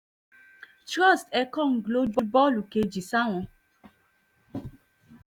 trust ekong ló ju bọ́ọ̀lù kejì sáwọn